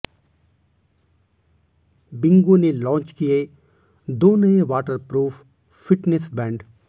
Bingo ने launch किए दो नए वाटरप्रूफ फिटनेस बैंड